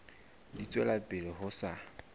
di tswela pele ho sa